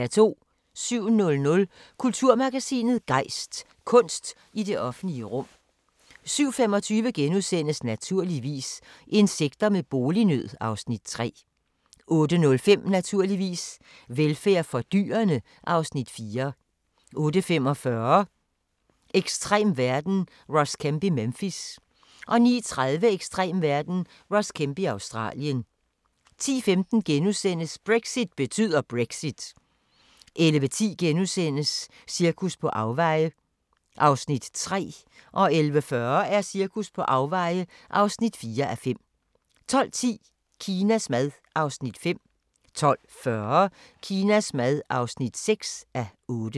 07:00: Kulturmagasinet Gejst: Kunst i det offentlige rum 07:25: Naturligvis - insekter med bolignød (Afs. 3)* 08:05: Naturligvis - velfærd for dyrene (Afs. 4) 08:45: Ekstrem verden – Ross Kemp i Memphis 09:30: Ekstrem verden – Ross Kemp i Australien 10:15: Brexit betyder Brexit * 11:10: Cirkus på afveje (3:5)* 11:40: Cirkus på afveje (4:5) 12:10: Kinas mad (5:8) 12:40: Kinas mad (6:8)